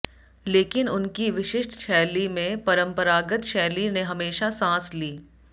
लेकिन उनकी विशिष्ट शैली में परंपरागत शैली ने हमेशा सांस ली